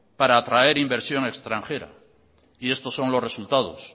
para atraer inversión extranjera y estos son los resultados